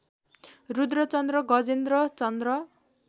Rudra Chandra Gajendra Chandra